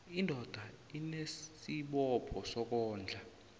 indoda inesibopho sokondla